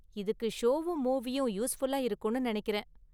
இதுக்கு ஷோவும் மூவியும் யூஸ்ஃபுல்லா இருக்கும்னு நினைக்கிறேன்.